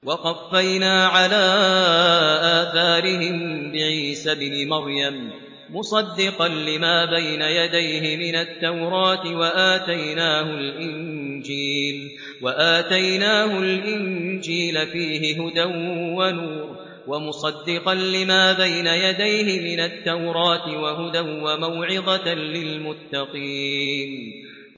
وَقَفَّيْنَا عَلَىٰ آثَارِهِم بِعِيسَى ابْنِ مَرْيَمَ مُصَدِّقًا لِّمَا بَيْنَ يَدَيْهِ مِنَ التَّوْرَاةِ ۖ وَآتَيْنَاهُ الْإِنجِيلَ فِيهِ هُدًى وَنُورٌ وَمُصَدِّقًا لِّمَا بَيْنَ يَدَيْهِ مِنَ التَّوْرَاةِ وَهُدًى وَمَوْعِظَةً لِّلْمُتَّقِينَ